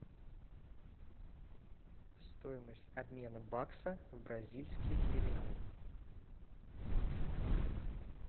стоимость обмена бакса в бразильский реал